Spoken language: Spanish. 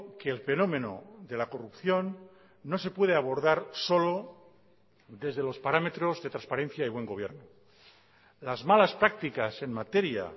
que el fenómeno de la corrupción no se puede abordar solo desde los parámetros de transparencia y buen gobierno las malas prácticas en materia